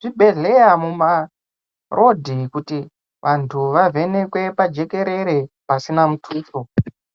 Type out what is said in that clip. zvibhedhlera muma road kuti vantu waavhenekwe pajekekere pasina mutuso.